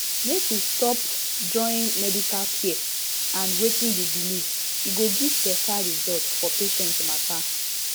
make we stop join medical care and wetin you believe e go give better result for patient matter